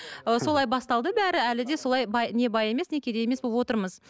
ы солай басталды бәрі әлі де солай бай не бай емес не кедей емес болып отырмыз